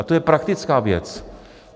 A to je praktická věc.